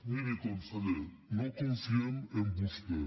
miri conseller no confiem en vostè